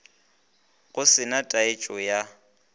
go se na taetšo ya